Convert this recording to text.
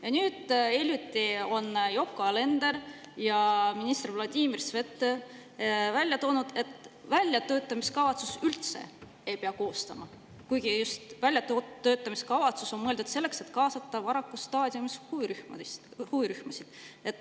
Ja nüüd hiljuti tõid Yoko Alender ja minister Vladimir Svet välja, et väljatöötamiskavatsust üldse ei pea koostama, kuigi väljatöötamiskavatsus on mõeldud just selleks, et kaasata varases staadiumis huvirühmasid.